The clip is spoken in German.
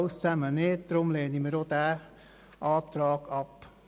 Deswegen lehnen wir den Antrag ab.